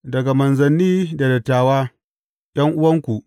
Daga manzanni da dattawa, ’yan’uwanku.